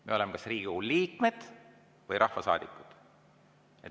Me oleme kas Riigikogu liikmed või rahvasaadikud.